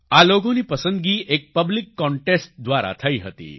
આ લોગોની પસંદગી એક પબ્લિક કોન્ટેસ્ટ દ્વારા થઈ હતી